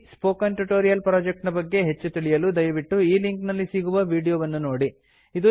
ಈ spoken tutorial project ನ ಬಗ್ಗೆ ಹೆಚ್ಚು ತಿಳಿಯಲು ದಯವಿಟ್ಟು ಈ ಲಿಂಕ್ ನಲ್ಲಿ ಸಿಗುವ ವೀಡಿಯೋ ವನ್ನು ನೋಡಿ